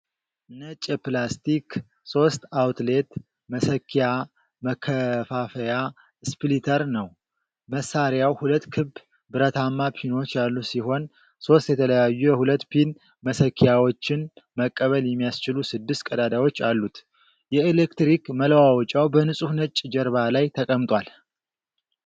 ነጭ የፕላስቲክ ሶስት-አውትሌት መሰኪያ መከፋፈያ (ስፕሊተር) ነው። መሳሪያው ሁለት ክብ ብረታማ ፒኖች ያሉት ሲሆን፣ ሶስት የተለያዩ የሁለት-ፒን መሰኪያዎችን መቀበል የሚያስችሉ ስድስት ቀዳዳዎች አሉት። የኤሌክትሪክ መለዋወጫው በንጹህ ነጭ ጀርባ ላይ ተቀምጧል።